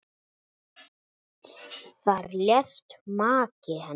Þar lést maki hennar.